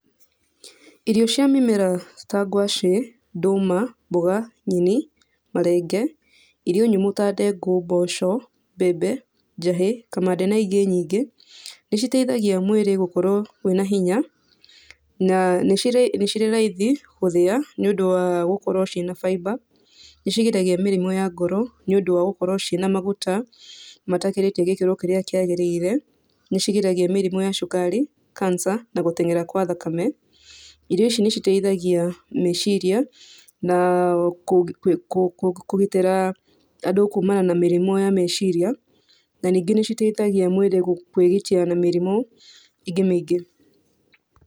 Irio cia mĩmera ta ngwacĩ, ndũma, mboga, nyeni, marenge, irio nyũmũ ta ndengũ, mboco, mbembe, njahĩ, kamande na ingĩ nyingĩ, nĩ citeithagia mwĩrĩ gũkorwo wĩ na hinya na nĩ cirĩ raithi gũthĩa, nĩ ũndũ wa gũkorwo ciĩna fiber, nĩ cigiragia mĩrimũ ya ngoro, nĩ ũndũ wa gũkorwo ciĩna maguta matakĩrĩte gĩkĩro kĩrĩa kĩagĩrĩire, nĩ cigiragia mĩrimũ ya cukari, cancer na gũten'era gwa thakame, irio ici nĩ citeithagia eciria na kũgitĩra andũ kuumana na mĩrimũ ya meciria, na ningĩ nĩ citeithagia mwĩrĩ kwĩgitia na mĩrimũ, ĩngĩ mĩingĩ.